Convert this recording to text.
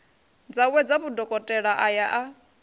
dzawedza vhudokotela a ya a